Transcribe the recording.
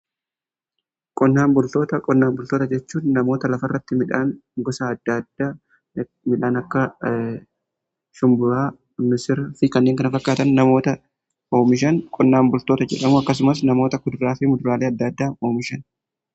Qonnaan bultoota jechuun namoota lafa irratti midhaan gosa adda addaa midhaan akka shumburaa missira fi kanneen kana fakkaatan namoota oomishan qonnaan bultoota jedhamu. Akkasumas namoota kuduraa fi muduraalee adda addaa oomishaniidha.